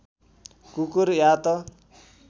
कुकुर या त